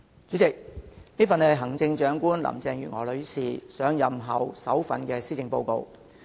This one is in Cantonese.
主席，這是行政長官林鄭月娥女士上任後的首份施政報告。